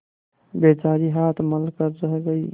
बेचारी हाथ मल कर रह गयी